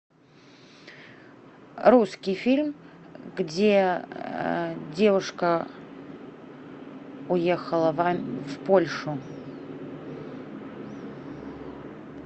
русский фильм где девушка уехала в польшу